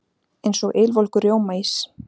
Eins og ylvolgur rjómaís.